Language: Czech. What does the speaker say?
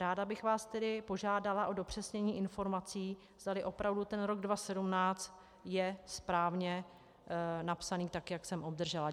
Ráda bych vás tedy požádala o dopřesnění informací, zdali opravdu ten rok 2017 je správně napsaný, tak jak jsem obdržela.